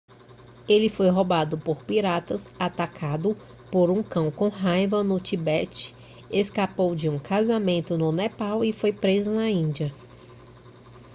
ele foi roubado por piratas atacado por um cão com raiva no tibete escapou de um casamento no nepal e foi preso na índia